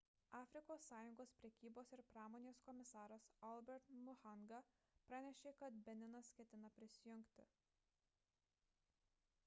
afrikos sąjungos prekybos ir pramonės komisaras albert muchanga pranešė kad beninas ketina prisijungti